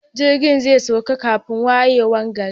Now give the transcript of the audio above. Jirgin zai sauka kafin wayewar gari.